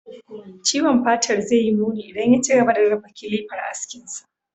Ciwon fatar zai yi muni idan ya ci gaba da raba kilafar askinsa.